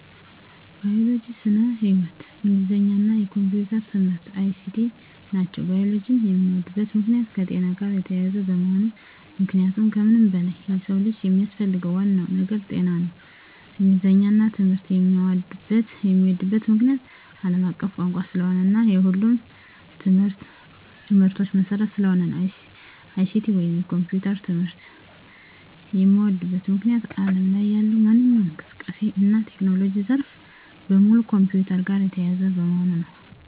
ባዮሎጂ (ስነ-ህይዎት)፣ እንግሊዘኛ እና የኮምፒዩተር ትምህርት(ICT) ናቸው። ባዮሎጂን የምወድበት ምክንያት - የከጤና ጋር የተያያዘ በመሆኑ ምክንያቱም ከምንም በላይ የሰው ልጅ የሚያስፈልገው ዋናው ነገር ጤና ነው። እንግሊዘኛን ትምህርት የምዎድበት ምክንያት - አለም አቀፍ ቋንቋ ስለሆነ እና የሁሉም ትምህርቶች መሰረት ስለሆነ ነው። ICT ወይንም የኮምፒውተር ትምህርት የምዎድበት ምክንያት አለም ላይ ያለው ማንኛውም እንቅስቃሴ እና የቴክኖሎጂ ዘርፍ በሙሉ ከኮምፒውተር ጋር የተያያዘ በመሆኑ ነው።